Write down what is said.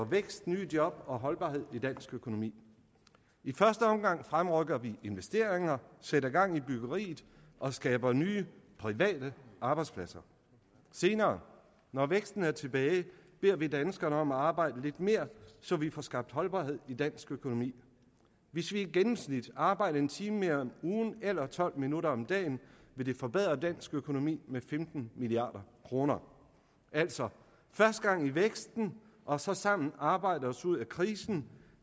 vækst nye job og holdbarhed i dansk økonomi i første omgang fremrykker vi investeringer sætter gang i byggeriet og skaber nye private arbejdspladser og senere når væksten er tilbage beder vi danskerne om at arbejde lidt mere så vi får skabt holdbarhed i dansk økonomi hvis vi i gennemsnit arbejder en time mere om ugen eller tolv minutter mere om dagen vil det forbedre dansk økonomi med femten milliard kroner altså først gang i væksten og så sammen arbejde os ud af krisen